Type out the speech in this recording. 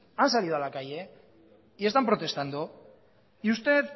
han salido a la calle y están protestando y usted